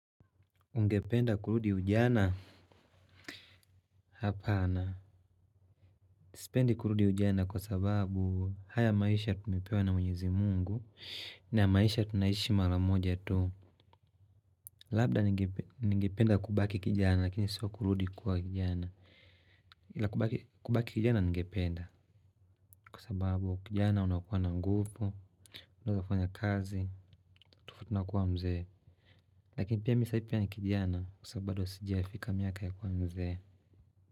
Ungependa kurudi ujana? Hapana. Sipendi kurudi ujana kwa sababu haya maisha tumepewa na mwenyezi mungu. Na maisha tunaishi mara moja tu. Labda ningependa kubaki kijana lakini sio kurudi kuwa kijana. Kubaki kijana ningependa kwa sababu kijana unakuwa na nguvu, unawezafanya kazi, ufutunakuwa mzee. Lakini pia mi sai pia ni kijana kwa sababu bado sijafika miaka ya kuwa mzee.